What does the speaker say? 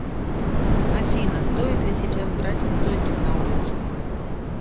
афина стоит ли сейчас брать зонтик на улицу